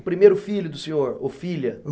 O primeiro filho do senhor, ou filha?